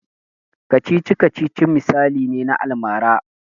Kacici-kacicic misali ne na almara.